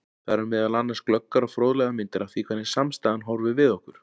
Þar eru meðal annars glöggar og fróðlegar myndir af því hvernig samstaðan horfir við okkur.